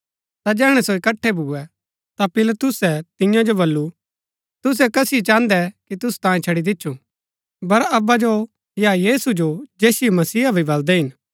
ता जैहणै सो इकट्ठै भुऐ ता पिलातुसै तियां जो बल्लू तुसै कसिओ चाहन्दै कि तुसु तांयें छड़ी दिच्छु बरअब्बा जो या यीशु जो जैसिओ मसीहा भी बलदै हिन